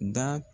Da